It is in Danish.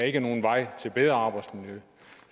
ikke er nogen vej til bedre arbejdsmiljø